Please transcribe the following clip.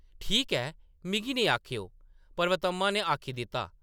“ठीक ऐ , मिगी नेईं आखेओ! ” पर्वतम्मा ने आखी दित्ता ।